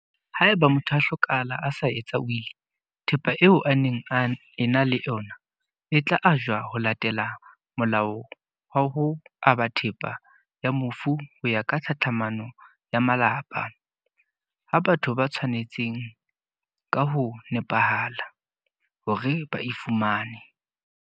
Haeba motho a hlokahala a sa etsa wili, thepa eo a neng a ena le ona e tla ajwa ho latela Molao wa ho Aba Thepa ya Mofu ho ya ka Tlhatlhamano ya Malapa, ho batho ba tshwa netseng ka ho nepahala hore ba e fumane.